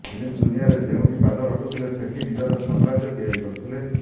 film ଦୁନିଆରେ ଯେଉଁଠି ପାଦ ରଖୁଥିଲେ ସେଠି ନିଜର ସାମ୍ରାଜ୍ୟ ତିଆରି କରୁଥିଲେ